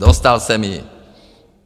Dostal jsem ji.